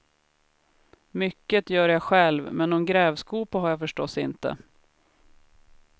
Mycket gör jag själv, men någon grävskopa har jag förstås inte.